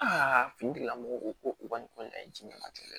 finitigilamɔgɔw ko ko u ka nin ko in na ye jiɲɛ matɛrɛ